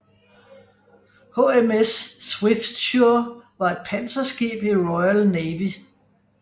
HMS Swiftsure var et panserskib i Royal Navy